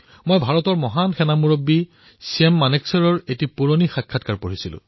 মই ভাৰতৰ মহান সেনা বিষয়া ছেম মানেকশ্বৰ এটা পুৰণি সাক্ষাৎকাৰ পঢ়ি আছিলো